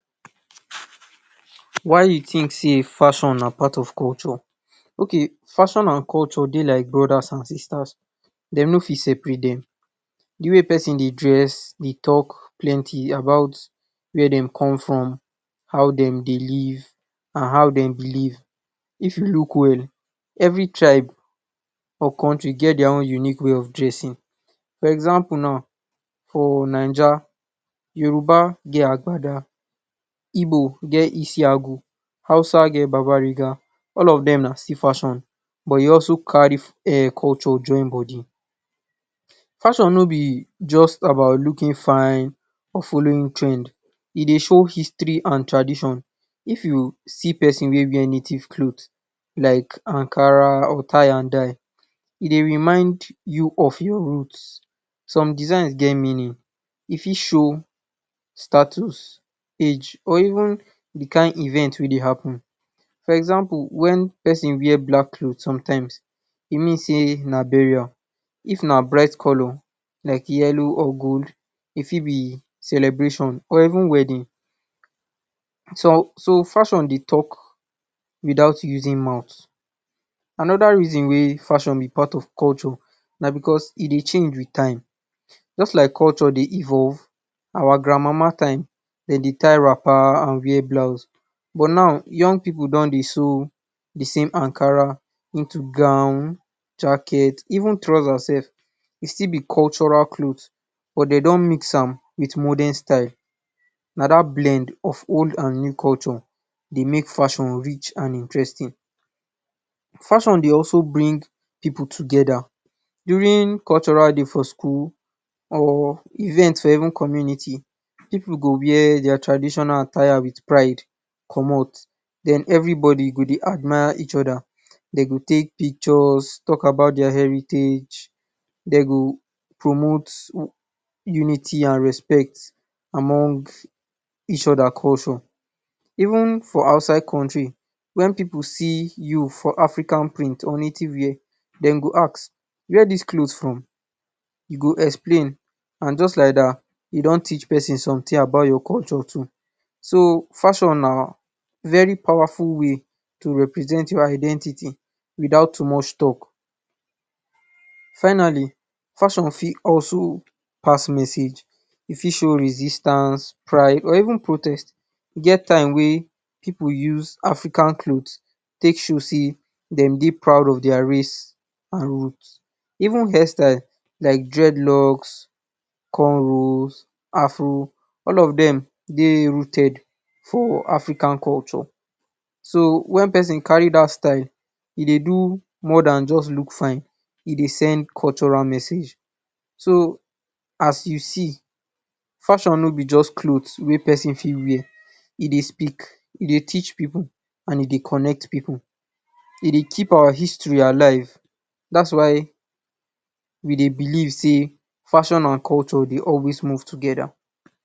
Why you think sey fashion na part of culture okay fashion and culture Dey like brothers and sisters dem no fit separate dem de wey person Dey dress Dey talk plenty about where dem come from how dem Dey live if you look well every tribe for country get dia own unique way of dressing for example now fo Niger Yoruba get agbada Igbo get esiago Hausa get babbar Riga all of dem na still fashion but e also carry ehnn culture join body fashion no be about looking fine or following trend e Dey show history and tradition if you see person wey wear native cloth like Ankara or tie and dye e go remind you of your root some design get meaning e fit show status, age or even de kin event wey Dey happen for example when person where black cloth sometimes e mean sey na for burial if na bright color like yellow or gold e fit be celebration or even wedding so fashion Dey talk without using month anoda reason wey fashion be part of culture na because e Dey change with time just like culture Dey evolve our grand mama time dem Dey tie wrapper and blouse but now young pipu don Dey sew the same Ankara into gown, jacket even trouser sef e still be cutural cloth but dem done mix am with modern style na dat blend of old and new culture Dey make fashion rich and interesting fashion Dey also bring pipu together during cultural day for school or event for even community pipu go wear dia traditional attire with pride commot den every body go Dey admire each oda Dey go take pictures talk about dia heritage dem go promote unity and respect among each oda culture even for outside country when pipu see you for African print or native wear dem go ask where dis cloth come from you go explain and just like dat you don teach person something about your culture to so fashion na very powerful way to represent your identity without too much talk finally Fashion fit also pass message e fit show resistance, pride or even protest pipu use African cloth take show sey dem Dey proud of dia raise and root even hair style like Locs corn rows Afro all of dem Dey rooted for African culture do when person carry dat style e Dey do more Dan just look style e Dey send cultural message so as we see fashion no be just cloth wey person fit wear e Dey speak e Dey tech pipu and e Dey connect pipu e Dey keep our history alive dats y we Dey believe sey fashion and culture Dey always move together